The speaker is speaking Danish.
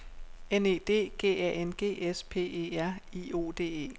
N E D G A N G S P E R I O D E